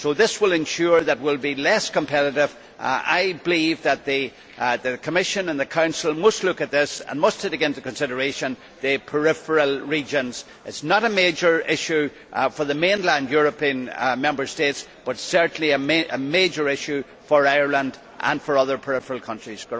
This will ensure that we will be less competitive. I believe that the Commission and the Council must look at this and must take into consideration the peripheral regions. It is not a major issue for the mainland European Member States but is certainly a major issue for Ireland and for other peripheral countries.